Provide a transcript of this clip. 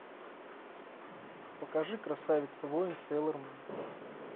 покажи красавица воин сейлор мун